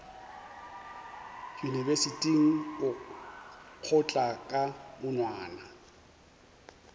yunibesithing o nkgotla ka monwana